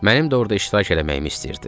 Mənim də orada iştirak eləməyimi istəyirdi.